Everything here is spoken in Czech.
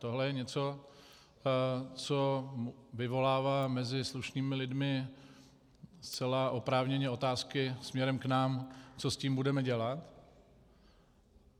Tohle je něco, co vyvolává mezi slušnými lidmi zcela oprávněně otázky směrem k nám, co s tím budeme dělat.